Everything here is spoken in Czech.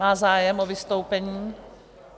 Má zájem o vystoupení?